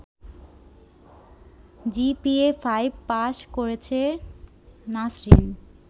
GPA five pass করেছে নাছরিন